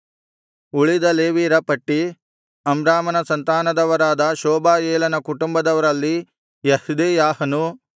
ಉಳಿದ ಲೇವಿಯರ ಪಟ್ಟಿ ಅಮ್ರಾಮನ ಸಂತಾನದವರಾದ ಶೂಬಾಯೇಲನ ಕುಟುಂಬದವರಲ್ಲಿ ಯೆಹ್ದೆಯಾಹನು